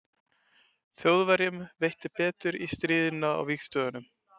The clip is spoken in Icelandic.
þjóðverjum veitti betur í stríðinu á vesturvígstöðvunum